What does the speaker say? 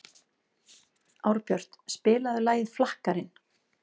Árbjört, spilaðu lagið „Flakkarinn“.